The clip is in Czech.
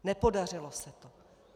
Nepodařilo se to.